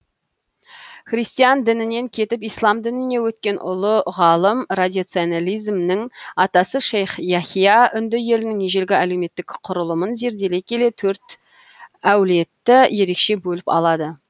христиан дінінен кетіп ислам дініне өткен ұлы ғалым радиционализмнің атасы шейх яхья үнді елінің ежелгі әлеуметтік құрылымын зерделей келе төрт әулетті ерекше бөліп алады